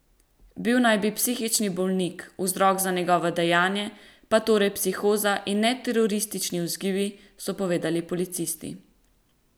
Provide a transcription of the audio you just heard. Bil naj bi psihični bolnik, vzrok za njegovo dejanje pa torej psihoza in ne teroristični vzgibi, so povedali policisti.